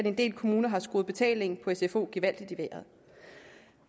at en del kommuner har skruet betalingen sfo gevaldigt i vejret